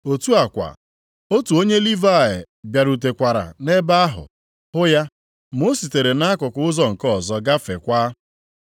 Otu a kwa, otu onye Livayị bịarutekwara nʼebe ahụ, hụ ya, ma o sitere nʼakụkụ ụzọ nke ọzọ gafeekwa.